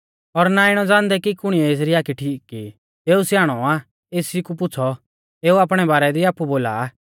पर आमै इणौ नाईं ज़ाणदै कि आबै एऊ किणै कौरीऐ देखा आ और ना इणौ ज़ाणदै कि कुणिऐ एसरी आखी ठीक की ई एऊ स्याणौ आ एसी कु पुछ़ौ एऊ आपणै बारै दी आपु बोला आ